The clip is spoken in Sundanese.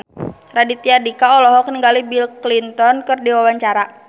Raditya Dika olohok ningali Bill Clinton keur diwawancara